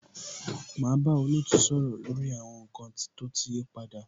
Máa bá olootu sọ̀rọ̀ lórí àwọn nkan tó ti yí padà.